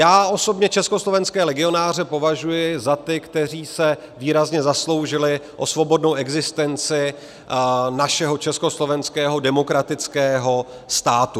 Já osobně československé legionáře považuji za ty, kteří se výrazně zasloužili o svobodnou existenci našeho československého demokratického státu.